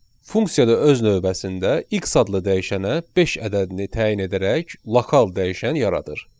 Funksiyada öz növbəsində x adlı dəyişənə beş ədədini təyin edərək lokal dəyişən yaradır.